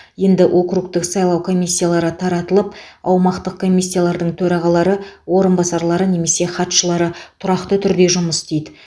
енді округтік сайлау комиссиялары таратылып аумақтық комиссиялардың төрағалары орынбасарлары немесе хатшылары тұрақты түрде жұмыс істейді